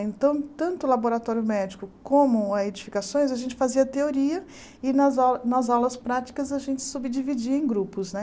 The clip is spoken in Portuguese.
Então, tanto o laboratório médico como as edificações, a gente fazia teoria e nas au nas aulas práticas a gente subdividia em grupos, né?